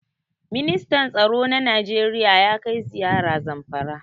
Ministan tsaro na Najeriya ya kai ziyara Zamfara.